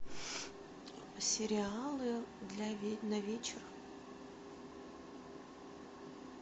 сериалы на вечер